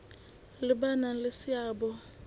le ba nang le seabo